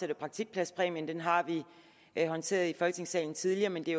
der praktikpladspræmien den har vi håndteret i folketingssalen tidligere men det